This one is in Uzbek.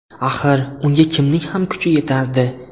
Axir, unga kimning ham kuchi yetardi?